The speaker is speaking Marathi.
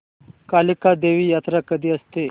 कालिका देवी यात्रा कधी असते